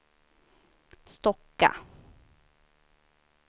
Stocka